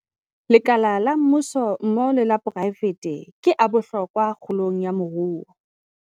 Lekala la mmuso mmoho le la poraefete ke a bohlokwa kgolong ya moruo.